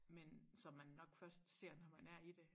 Men som man nok først ser når man er i det